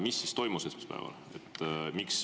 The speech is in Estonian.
Mis siis esmaspäeval toimus?